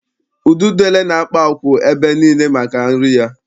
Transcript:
Ududele na-akpa akwụ̀ ebe niile maka nri ya.